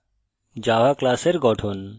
জাভাতে class